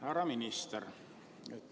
Härra minister!